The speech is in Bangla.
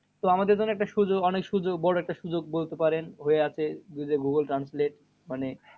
তো আমাদের জন্যে একটা সুযোগ অনেক সুযোগ বড় একটা সুযোগ বলতে পারেন হয়ে আছে। বুঝলে গুগুল translate মানে